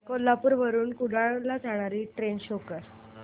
कोल्हापूर वरून कुडाळ ला जाणारी ट्रेन शो कर